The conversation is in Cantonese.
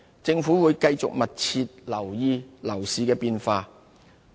政府會繼續密切留意樓市的變化。